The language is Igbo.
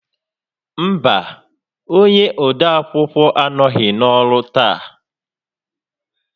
Mba, onye odeakwụkwọ anọghị n'ọrụ taa